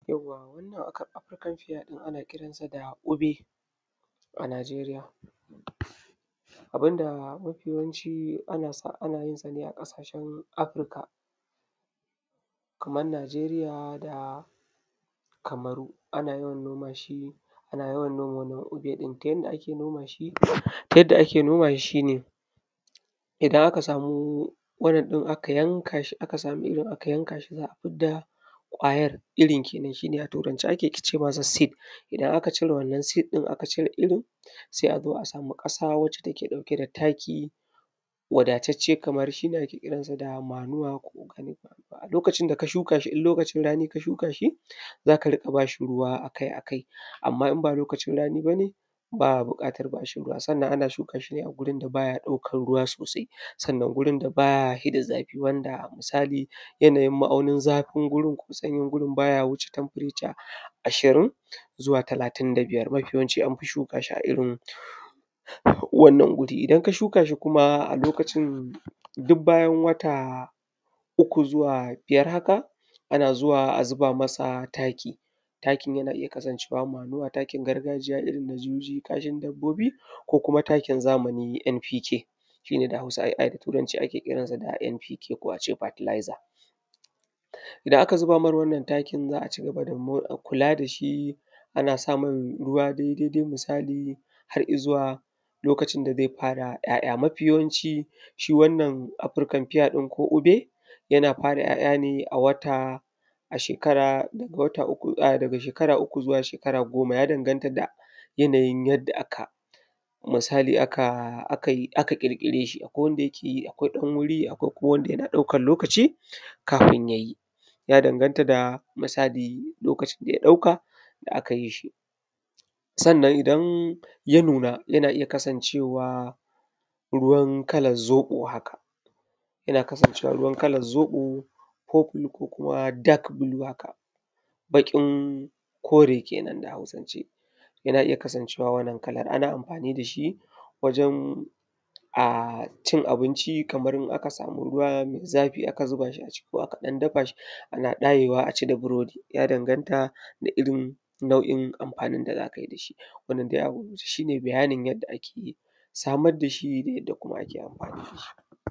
Yawwa! wannan ak “African Pear” ɗin ana kiransa da “ube a Najeriya. Abin da mafi yawanci ana sa; ana yin sa ne a ƙasashen Afurka kaman Najeriya da Kamaru ana yin noma shi, ana yawan noma wannan “ube” ɗin. Ta yanda ake noma shi; ta yadda ake noma shi, shi ne idan aka samu wannan ɗin aka yanka shi aka samu irin aka yanka shi, za a fudda ƙwayar, irin kenan, shi ne a Turance ake ce masa “seed”. Idan aka cire wannan “seed” ɗin aka cire irin, sai a zo a samu ƙasa wacce take ɗauke da taki wadatacce kamar shi ne ake ƙiran sa da “manua” ko “organic manua”. A lokacin da ka shuka shi, in lokacin rani ka shuka shi za ka dinga ba shi ruwa a kai a kai, amma in ba lokacin rani ba ne, ba a buƙatar ba shi ruwa, sannan ana shuka shi ne a gurin da ba ya ɗaukar ruwa sosai, sannan gurin da ba ya hi da zafi wanda musali yanayin ma'aunin zafin wurin ko sanyin gurin ba ya wuce “temperature” ashirin zuwa talatin da biyar. Mafi yawanci an fi shuka shi a irin wannan guri, idan ka shuka shi kuma a lokacin duk bayan wata uku zuwa biyar haka, ana zuwa a zuba masa taki, takin yana iya kasancewa “manua” takin gargajiya irin na juji, kashin dabbobi ko kuma takin zamani “NPK” shi ne da Hausa ai, ai da Turanci ake ƙiran sa “NPK” ko a ce “fertilizer” idan aka zuba mar wannan takin za a ci gaba da mo; kula da shi ana sa mai ruwa dai daidai musali har I zuwa lokacin da ze fara ‘ya’ya. Mafi yawanci shi wannan “African pear” ɗin ko “ube” yana fara ‘ya’ya ne a wata, a shekara daga wata uku a; daga shekara uku zuwa shekara goma ya danganta da yanayin yadda aka; musali aka aka yi aka ƙirƙire shi akwai wanda yake yi akwai ɗan wuri akwai kuma wanda yana ɗaukar lokaci kafin ya yi ya danganta da musali lokacin da ya ɗauka da aka yi shi, sannan idan ya nuna yana iya kasancewa ruwan kalan zoƃo haka, yana kasancewa ruwan kalan zoƃo ko kunu ko kuma “dark blue” haka, baƙin kore kenan da Hausance yana iya kasancewa wannan kalar ana anfani da shi wajen a cin abinci kamar in aka samu ruwa me zafi aka zuba shi a ciki ko aka dafa shi ana ɗayewa a ci da burodi ya danganta da irin nau'in anfanin da za kai da shi wannan dai a gugguje shi ne bayanin yadda ake samad da shi da yadda kuma ake anfani da shi.